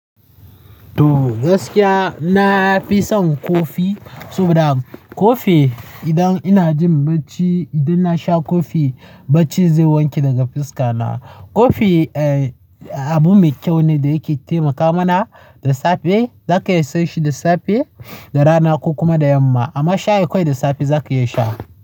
To gaskiya na fi son kofi, saboda kofi idan ina jin bacci, idan na sha kofi bacci zai wanke daga fuska na. Kofi abu mai kyau ne da yake taimaka mana da safe, zaka iya sha shi da safe, da rana ko kuma da yamma. Amma shayi kawai da safe zaka iya sha.